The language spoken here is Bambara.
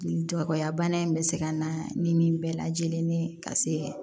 Dɔgɔya bana in bɛ se ka na ni nin bɛɛ lajɛlen ye ka se